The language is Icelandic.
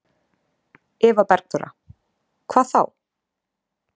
Eva Bergþóra: Hvað þá?